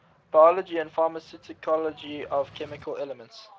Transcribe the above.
biology and pharmacology of chemical elements